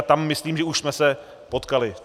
A tam myslím, že už jsme se potkali.